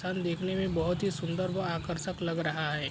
देखने में बोहोत ही सुन्दर व आकर्षक लग रहा है।